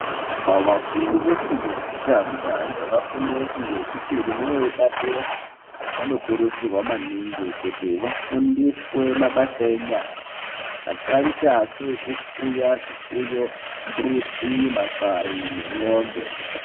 Vafundi vefundo yekutanga nevafundi vefundo yechipiri nevepadera vanokurudzirwa maningi kuti vafundiswe mabasa enyara akaita seekufuya zvifuyo , mbudzi , makwayi nemwombe